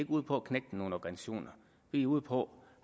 ude på at knægte nogen organisationer vi er ude på